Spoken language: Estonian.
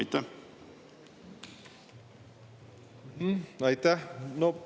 Aitäh!